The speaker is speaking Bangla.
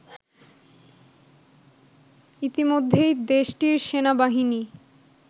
ইতিমধ্যেই দেশটির সেনাবাহিনী